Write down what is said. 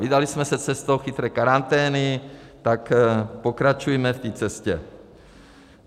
Vydali jsme se cestou chytré karantény, tak pokračujme v té cestě.